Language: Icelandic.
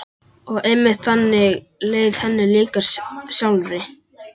Og einmitt þannig leið henni líka sjálfri.